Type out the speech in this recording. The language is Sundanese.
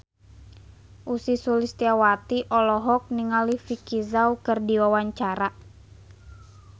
Ussy Sulistyawati olohok ningali Vicki Zao keur diwawancara